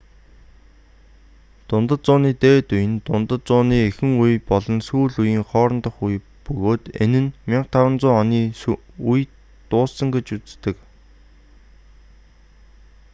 дундад зууны дээд үе нь дундад зууны эхэн үе болон сүүл үеийн хоорондох үе бөгөөд энэ нь 1500 оны үед дууссан гэж үздэг